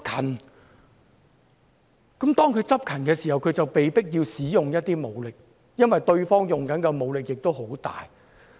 當警方執勤的時候，就被迫要使用武力，因為對方使用的武力很大。